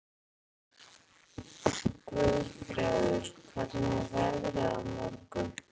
Guðfreður, hvernig er veðrið á morgun?